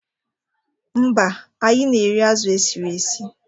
Mba, anyị na-eri azụ e siri esi.